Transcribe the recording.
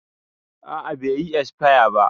A'a bai yi esfaya ba